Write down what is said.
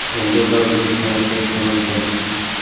Endi ular O‘zbekistonga qaytishi mumkin.